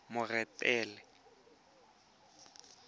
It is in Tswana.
moretele